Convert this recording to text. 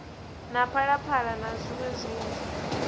na phalaphala na zwiṋwe zwinzhi